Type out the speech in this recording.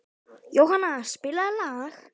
Jónanna, spilaðu lag.